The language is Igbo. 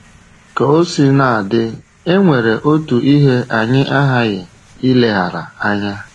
Ka o sina dị, e nwere otu ihe anyị aghaghị ileghara anya.